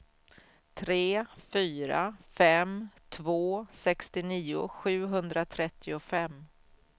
tre fyra fem två sextionio sjuhundratrettiofem